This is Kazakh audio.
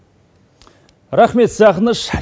рахмет сағыныш